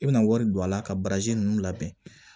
I bɛna wari don a la ka baraji ninnu labɛn